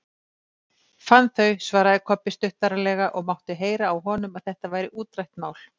Fann þau, svaraði Kobbi stuttaralega og mátti heyra á honum að þetta væri útrætt mál.